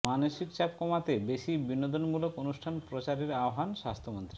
মানসিক চাপ কমাতে বেশি বিনোদনমূলক অনুষ্ঠান প্রচারের আহ্বান স্বাস্থ্যমন্ত্রীর